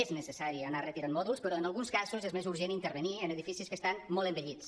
és necessari anar retirant mòduls però en alguns casos és més urgent intervenir en edificis que estan molt envellits